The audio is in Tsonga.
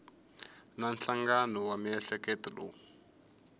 na nhlangano wa miehleketo lowu